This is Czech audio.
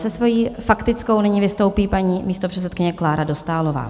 Se svou faktickou nyní vystoupí paní místopředsedkyně Klára Dostálová.